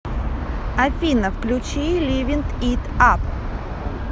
афина включи ливин ит ап